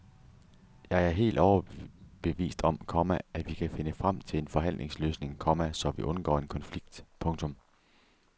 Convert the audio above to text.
Jeg er helt overbevist om, komma at vi kan finde frem til en forhandlingsløsning, komma så vi undgår en konflikt. punktum